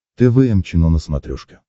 тэ вэ эм чено на смотрешке